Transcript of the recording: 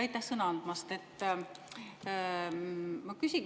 Aitäh sõna andmast!